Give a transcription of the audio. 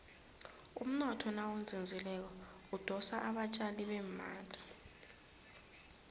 umnotho nawuzinzileko udosa abatjali bemali